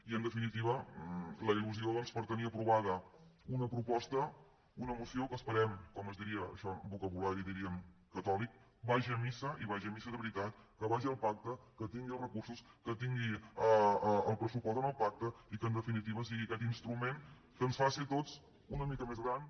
i en definitiva doncs la il·lusió per tenir aprovada una proposta una moció que esperem com es diria això amb vocabulari diríem catòlic que vagi a missa i vagi a missa de veritat que vagi al pacte que tingui els recursos que tingui el pressupost en el pacte i que en definitiva sigui aquest instrument que ens faci a tots una mica més grans